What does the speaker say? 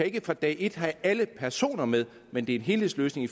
ikke fra dag et kan have alle personer med men det en helhedsløsning i